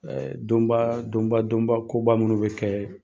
Ɛɛ donba , donba donba koba munun be kɛ